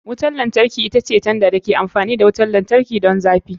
Wutar lantarki ita ce tanda da ke amfani da wutar lantarki don zafi.